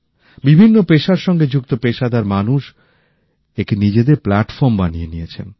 বিভিন্ন পেশার সাথে যুক্ত পেশাদার মানুষ একে নিজেদের প্লাটফর্ম বানিয়ে নিয়েছেন